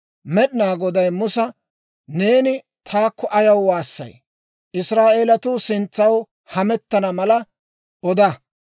Med'inaa Goday Musa, «Neeni taakko ayaw waassay? Israa'eelatuu sintsaw hamettana mala oda.